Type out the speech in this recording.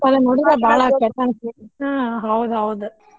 but ಅದನ್ ನೋಡಿದ್ರ ಬಾಳ್ ಕೆಟ್ ಅನ್ಸ್ತೇತಿ ಹಾ ಹೌದ್ ಹೌದ್.